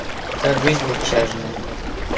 как жизнь общажная